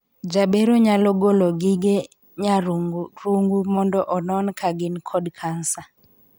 Jabero nyalo golo gige nyarung'rung mondo onon ka gin kod kansa.